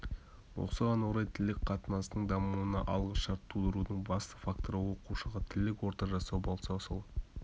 осыған орай тілдік қатынастың дамуына алғы шарт тудырудың басты факторы оқушыға тілдік орта жасау болса сол